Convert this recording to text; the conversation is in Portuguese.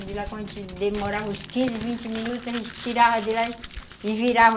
Quando a gente demorava uns vinte, quinze minutos, a gente tirava de lá e virava.